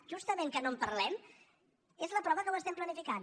justament que no en parlem és la prova que ho estem planificant